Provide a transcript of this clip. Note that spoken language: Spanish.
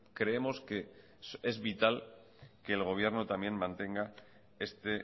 creemos que es vital que el gobierno también mantenga este